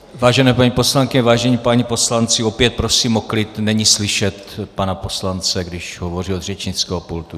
Vážené paní poslankyně, vážení páni poslanci, opět prosím o klid, není slyšet pana poslance, když hovoří od řečnického pultu.